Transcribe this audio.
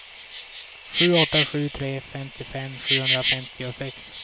sju åtta sju tre femtiofem sjuhundrafemtiosex